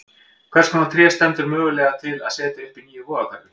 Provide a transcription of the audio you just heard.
Hvers konar tré stendur mögulega til að setja upp í nýju Vogahverfi?